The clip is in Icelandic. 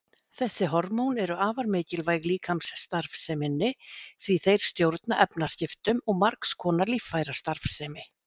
Þessi hormón eru afar mikilvæg líkamsstarfseminni því þeir stjórna efnaskiptum og margs konar líffærastarfsemi.